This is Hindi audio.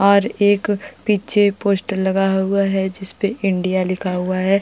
और एक पीछे पोस्टर लगा हुआ है जिसपे इंडिया लिखा हुआ है।